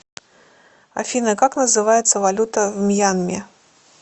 афина как называется валюта в мьянме